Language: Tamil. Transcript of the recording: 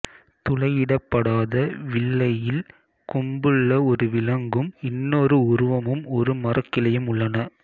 துளையிடப்படாத வில்லையில் கொம்புள்ள ஒரு விலங்கும் இன்னொரு உருவமும் ஒரு மரக் கிளையும் உள்ளன